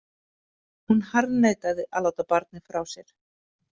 Hún harðneitaði að láta barnið frá sér.